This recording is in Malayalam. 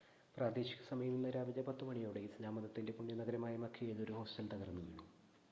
പ്രാദേശിക സമയം ഇന്ന് രാവിലെ 10 മണിയോടെ ഇസ്‌ലാം മതത്തിൻ്റെ പുണ്യനഗരമായ മക്കയിൽ ഒരു ഹോസ്റ്റൽ തകർന്നുവീണു